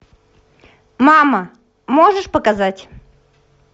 мама можешь показать